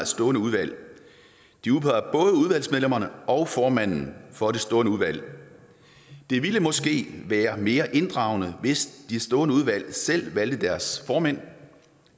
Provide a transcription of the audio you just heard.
stående udvalg de udpeger både udvalgsmedlemmerne og formændene for de stående udvalg det ville måske være mere inddragende hvis de stående udvalg selv valgte deres formænd